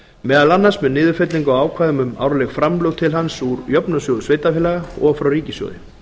meðal annars með niðurfellingu á ákvæðum um árleg framlög til hans úr jöfnunarsjóði sveitarfélaga og frá ríkissjóði